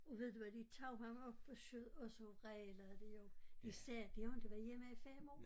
Og ved du hvad de tog ham op på skødet og så vrælede de jo de sagde de har inte været hjemme i 5 år